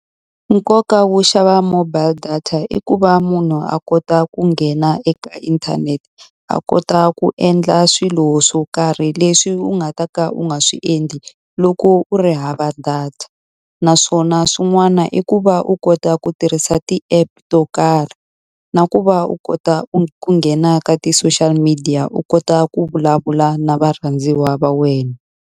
Nkoka wo xava mobile data i ku va munhu a kota ku nghena eka inthanete, a kota ku endla swilo swo karhi leswi u nga ta ka u nga swi endli loko u ri hava data. Naswona swin'wana i ku va u kota ku tirhisa ti-app to karhi, na ku va u kota ku ku nghena ka ti-social media u kota ku vulavula na varhandziwa va wena.